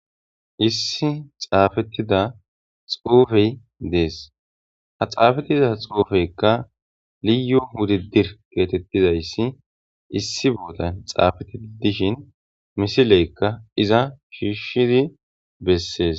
issi xaafettida xoofey dees ha xaafettida xoofeykka liyo hudi dir geetettizayssi issi boodan xaafetti dishin misileykka iza shiishshidi bessees